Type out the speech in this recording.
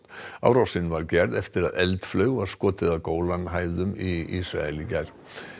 árásin var gerð eftir að eldflaug var skotið að hæðum í Ísrael í gær